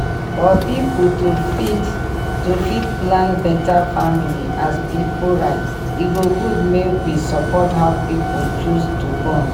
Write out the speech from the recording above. for pipu to fit to fit plan beta family as pipu right e go good make we support how people choose to born